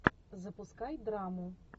запускай драму